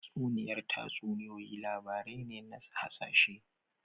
Tatsuniyar tatsuniyoyi labarai ne na hasashe